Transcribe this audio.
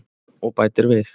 Og bætir við: